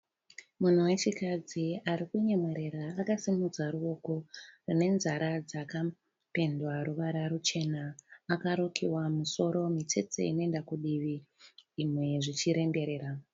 Munhu wechikadzi ari kunyemwerera akasimudza ruoko anenzara dzakapendwa ruvara ruchena akarukiwa musoro mitsetse inoenda kudivi zvimwe zvichiremberera.